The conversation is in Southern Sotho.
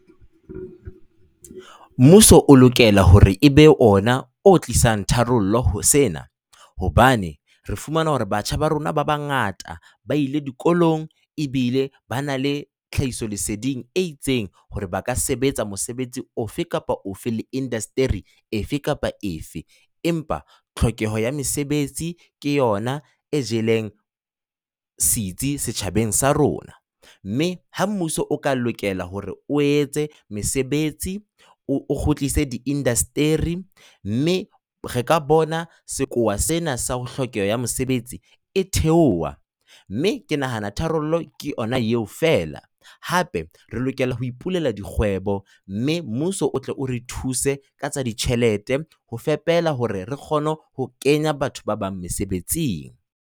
Mmuso o lokela hore e be ona o tlisang tharollo ho sena. Hobane re fumana hore batjha ba rona ba bangata ba ile dikolong ebile ba na le tlhahisoleseding e itseng hore ba ka sebetsa mosebetsi ofe kapa ofe le indaseteri efe kapa efe. Empa tlhokeho ya mesebetsi ke yona e jeleng setsi setjhabeng sa rona. Mme ha mmuso o ka lokela hore o etse mosebetsi o kgutlise diindaseteri, mme re ka bona sekowa sena sa ho hlokeho ha mosebetsi e theoha, mme ke nahana tharollo ke yona eo fela. Hape re lokela ho ipulela dikgwebo mme mmuso o tle o re thuse ka tsa ditjhelete ho fepela hore re kgone ho kenya batho ba bang mesebetsing.